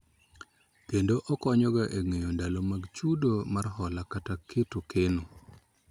Kendo okonyo ga e ng'eyo ndalo mag chudo mar hola kata keto keno